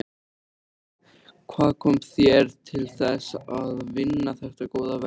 Hvað kom þér til þess að vinna þetta góða verk?